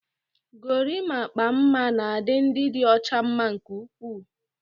Gorimakpa mma na-adị ndị dị ọcha mma nke ukwuu.